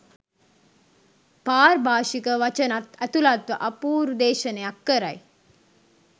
පාර්භාෂික වචනත් ඇතුළත්ව අපූරු දේශනයක් කරයි